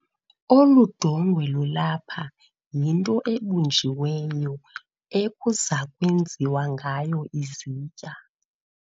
Olu dongwe lulapha yinto ebunjiweyo ekuza kwenziwa ngayo izitya.